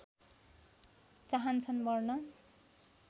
चाहन्छन् मर्न